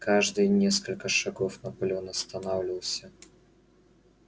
каждые несколько шагов наполеон останавливался